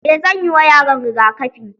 Eh zanyi ma yaron rigakafi.